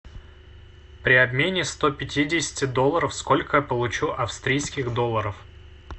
при обмене сто пятидесяти долларов сколько я получу австрийских долларов